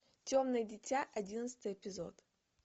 темное дитя одиннадцатый эпизод